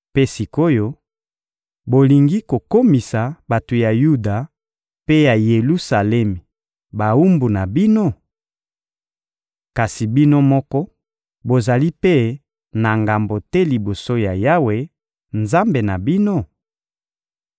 Mpe sik’oyo, bolingi kokomisa bato ya Yuda mpe ya Yelusalemi bawumbu na bino? Kasi bino moko, bozali mpe na ngambo te liboso ya Yawe, Nzambe na bino?